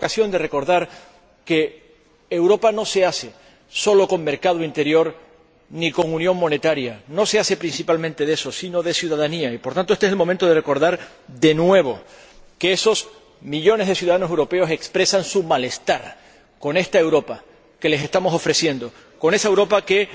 Y tuvimos ocasión de recordar que Europa no se hace solo con mercado interior ni con unión monetaria, no se hace principalmente de eso, sino de ciudadanía y, por tanto, este es el momento de recordar, de nuevo, que esos millones de ciudadanos europeos expresan su malestar con esta Europa que les estamos ofreciendo, con esa Europa que